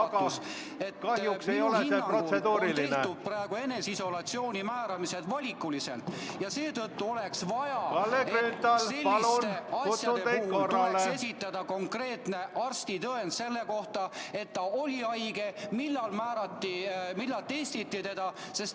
Kogu küsimus taandub sellele, austatud Riigikogu juhatus, et praegu käivad eneseisolatsiooni määramised valikuliselt ja seetõttu ...... tuleks esitada konkreetne arstitõend selle kohta, et ta oli haige, millal määrati, millal testiti teda.